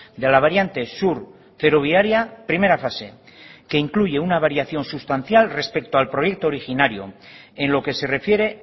de la variante sur ferroviaria primera fase que incluye una variación sustancial respecto al proyecto originario en lo que se refiere